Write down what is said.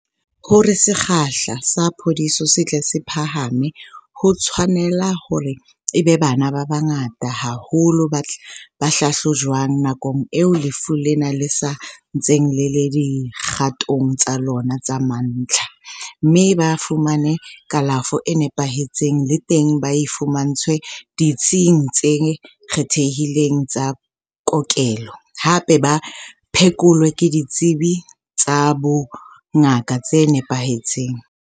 Hore sekgahla sa phodiso se tle se phahame, ho tshwanela hore e be bana ba bangata haholo ba hlahlojwang nakong eo lefu lena le sa ntseng le le dikgatong tsa lona tsa mantlha, mme ba fumane kalafo e nepahetseng, le teng ba e fumantshwe ditsing tse kgethehileng tsa kokelo, hape ba phekolwe ke ditsebi tsa bongaka tse nepahetseng.